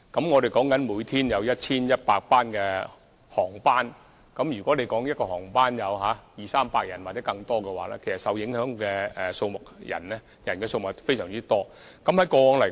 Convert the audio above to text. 我們每天有 1,100 航班，如果一班航班有二三百人或更多的話，其實受影響人數是非常多的。